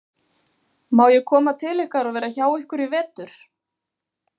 Má ég koma til ykkar og vera hjá ykkur í vetur?